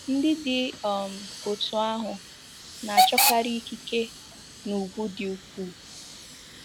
Ndị dị um otú ahụ na-achọkarị ikike na ùgwù di ukwuu.